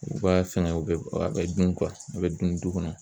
U b'a fɛngɛ u bɛ a bɛ dun a bɛ dun du kɔnɔ.